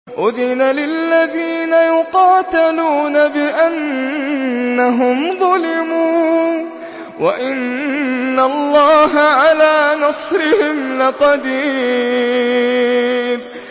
أُذِنَ لِلَّذِينَ يُقَاتَلُونَ بِأَنَّهُمْ ظُلِمُوا ۚ وَإِنَّ اللَّهَ عَلَىٰ نَصْرِهِمْ لَقَدِيرٌ